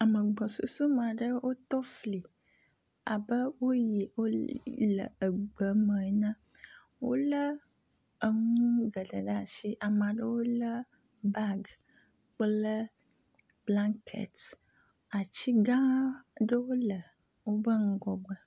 ame gbɔsusumeaɖe wo tófli abe wóyi wóle egbeme ene wóle eŋu gele ɖe asi amaɖewo le bag kple blaŋket atsigãɖewo le wóbe ŋgɔgbe